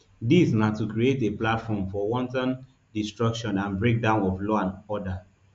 dis na to create a platform for wanton destruction and breakdown of law and order